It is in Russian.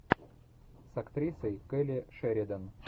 с актрисой келли шеридан